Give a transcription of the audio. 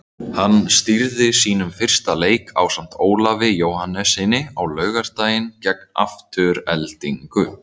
Hann stýrði sínum fyrsta leik ásamt Ólafi Jóhannessyni á laugardaginn gegn Aftureldingu.